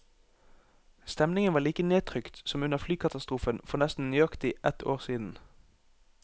Stemningen var like nedtrykt som under flykatastrofen for nesten nøyaktig ett år siden.